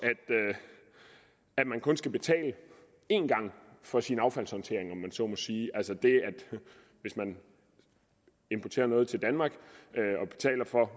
at man kun skal betale én gang for sin affaldshåndtering så må sige altså det at hvis man importerer noget til danmark